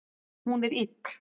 Hún er ill